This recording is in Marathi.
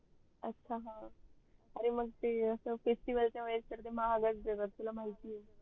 अच्छा अह अरे मग ते अस festival च्या वेडेस तर ते महागच देत असते तुला माहीती आहे